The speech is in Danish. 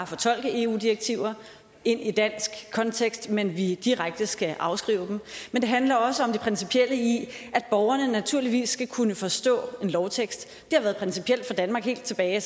fortolke eu direktiver ind i dansk kontekst men at vi direkte skal afskrive dem men det handler også om det principielle i at borgerne naturligvis skal kunne forstå en lovtekst det har været principielt for danmark helt tilbage